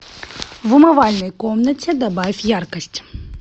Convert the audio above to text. в умывальной комнате добавь яркость